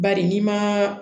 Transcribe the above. Bari n'i ma